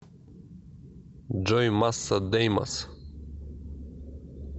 джой масса деймос